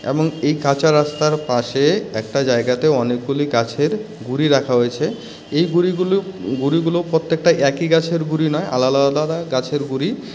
এবং এই কাঁচা রাস্তার পাশে একটা জায়গাতে অনেকগুলি গাছের গুঁড়ি রাখা হয়েছে। এই গুঁড়িগুলো গুঁড়িগুলো প্রত্যেকটা একই গাছের গুঁড়ি নয় আলাদা আলাদা গাছের গুঁড়ি ।